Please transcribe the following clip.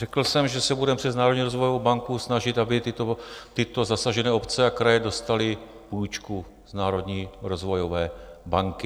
Řekl jsem, že se budeme přes Národní rozvojovou banku snažit, aby tyto zasažené obce a kraje dostaly půjčku z Národní rozvojové banky.